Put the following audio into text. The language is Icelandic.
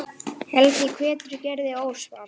Helgi hvetur Gerði óspart.